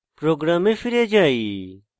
program ফিরে যাই